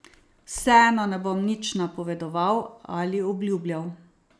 Vseeno ne bom nič napovedoval ali obljubljal.